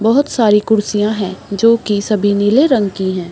बहोत सारी कुर्सियाँ है जो की सभी नीले रंग की है।